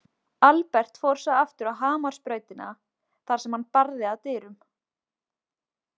Albert fór svo aftur á Hamarsbrautina, þar sem hann barði að dyrum.